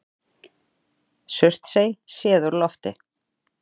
Surtsey séð úr lofti.